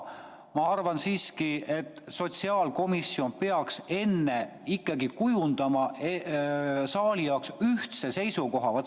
Ma arvan siiski, et sotsiaalkomisjon peaks ikkagi kujundama saali jaoks ühtse seisukoha.